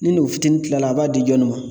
Ni nugu fitiinin kila la, a b'a di jɔni ma?